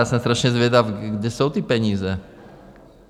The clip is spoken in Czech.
Já jsem strašně zvědav, kde jsou ty peníze?